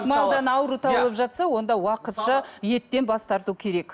ауру табылып жатса онда уақытша еттен бас тарту керек